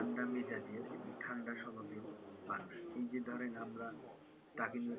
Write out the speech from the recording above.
ঠান্ডা মেজাজের এবং ঠান্ডা স্বভাবের মানুষ। এই যে ধরেন আমরা তাকে নিয়ে কত,